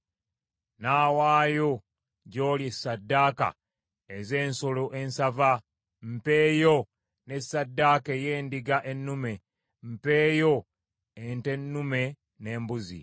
Nnaawaayo gy’oli ssaddaaka ez’ensolo ensava, mpeeyo ne ssaddaaka ey’endiga ennume; mpeeyo ente ennume n’embuzi.